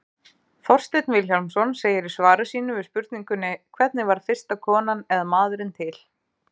Þorsteinn Vilhjálmsson segir í svari sínu við spurningunni Hvernig varð fyrsta konan eða maðurinn til?